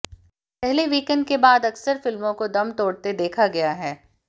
पहले वीकेंड के बाद अक्सर फिल्मों को दम तोड़ते देखा गया है